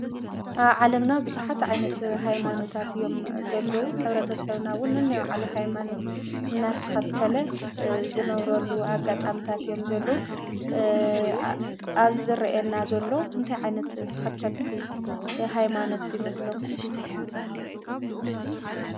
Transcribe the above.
ኣብ ዓለምና ብዙሓት ዓይነታት ሃይማኖታት እዮም ዘለው ። ሕብረተሰብና እውን ነናይ ባዕሉ ሃይማኖት እናተኸተለ ዝነብረሉ ኣጋጣሚታት እዮም ዘለው። ኣብዚ ዝረአየና ዘሉ እንታይ ዓይነት ተኸተልቲ ሃይማኖት ይመስለኩም ?